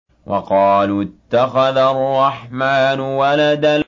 وَقَالُوا اتَّخَذَ الرَّحْمَٰنُ وَلَدًا